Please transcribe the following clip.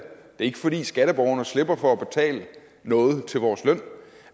er ikke fordi skatteborgerne slipper for at betale noget til vores løn